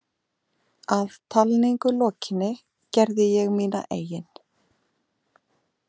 Að talningu lokinni gerði ég mína eigin.